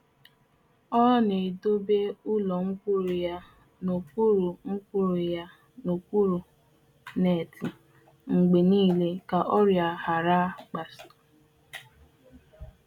ọ na-ejikarị akwa mkpuchi neeti na-ekpuchi ubi nzulite ihe ọkụkụ ya iji gbochie mgbasa gbochie mgbasa nke ọrịa.